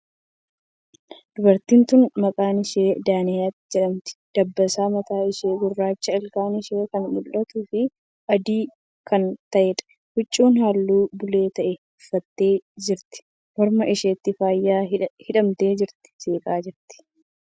Dubartiin tuni maqaan ishee Daanaayit jedhamti. Dabbasaan mataa ishee gurraacha. Ilkaan ishee kan mul'atuu fii adii kan ta'eedha. Huccuu haalluu bulee ta'e uffattee jirti. Morma isheetti faaya hidhattee jirti. Seeqaa jirti.